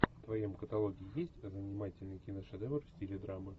в твоем каталоге есть занимательный киношедевр в стиле драмы